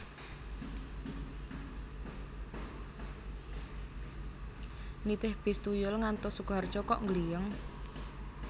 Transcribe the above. Nitih bis tuyul ngantos Sukoharjo kok nggliyeng